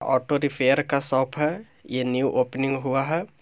Auto repair का shop है ये न्यू ओपनिंग हुआ है।